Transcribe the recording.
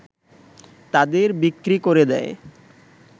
তাদের বিক্রি করে দেয়